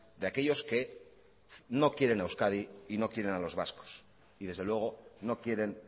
de aquellos que no quieren a euskadi y no quieren a los vascos y desde luego no quieren